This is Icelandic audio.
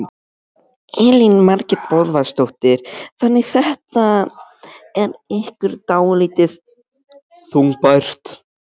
Elín Margrét Böðvarsdóttir: Þannig þetta er ykkur dálítið þungbært?